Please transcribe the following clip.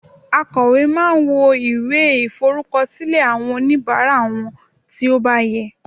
akowe ma n wo iwe iforukọsilẹ awọn onibara won ti o ba yẹ